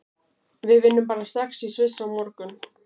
Við vinnum bara strax í Sviss á morgun.